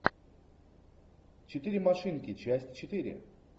четыре машинки часть четыре